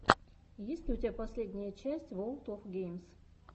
есть ли у тебя последняя часть ворлд оф геймс